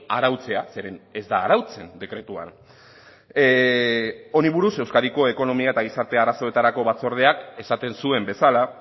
arautzea zeren ez da arautzen dekretuan honi buruz euskadiko ekonomia eta gizartea arazoetarako batzordeak esaten zuen bezala